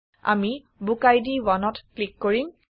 আমি বুকিড 1ত ক্লিক কৰিম